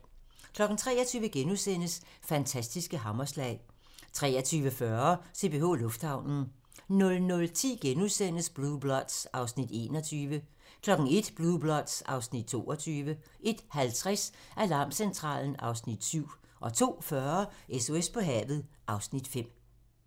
23:00: Fantastiske hammerslag * 23:40: CPH Lufthavnen 00:10: Blue Bloods (Afs. 21)* 01:00: Blue Bloods (Afs. 22) 01:50: Alarmcentralen (Afs. 7) 02:40: SOS på havet (Afs. 5)